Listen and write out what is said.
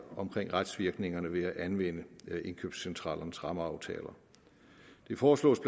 omkring retsvirkningerne ved at anvende indkøbscentralernes rammeaftaler det foreslås